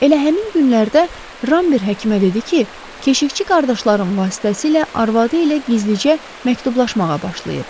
Elə həmin günlərdə Ramber həkimə dedi ki, keşişçi qardaşların vasitəsilə arvadı ilə gizlicə məktublaşmağa başlayıb.